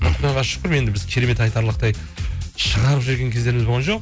құдайға шүкір енді біз керемет айтарлықтай шығарып жіберген кездеріміз болған жоқ